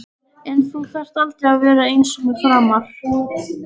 En þú þarft aldrei að vera einsömul framar.